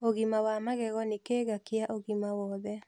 Ũgima wa magego ni kĩiga kĩa ũgima wothe